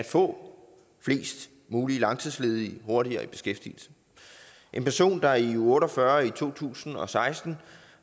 få flest muligt langtidsledige hurtigere i beskæftigelse en person der i uge otte og fyrre i to tusind og seksten